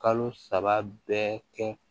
Kalo saba bɛɛ kɛ